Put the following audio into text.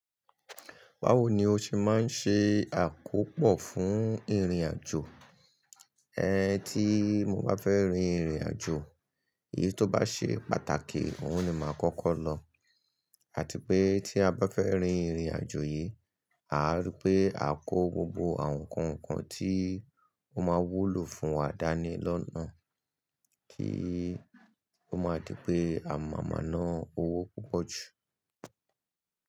Bawo ni o ṣe máa ń ṣe àkópò fún ìrìnàjò? Tí mo bá fẹ́ rin ìrìnàjò, èyí tó bá ṣe pàtàkì, òhun ni màá kọ́kọ́ lọ. Àti pé tí a bá fẹ́ rin ìrìnàjò yìí, àá rí pé a kó gbogbo àwọn ǹkan kan tí ó máa wúlò fún wa dání lọ́nà kí ó má di pé a máa má nà owó púpọ̀ jù.